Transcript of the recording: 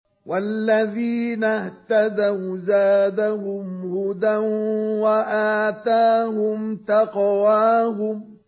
وَالَّذِينَ اهْتَدَوْا زَادَهُمْ هُدًى وَآتَاهُمْ تَقْوَاهُمْ